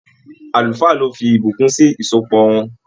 Àlùfáà ló fí ìbùkún sì ìsopọ̀ wọn.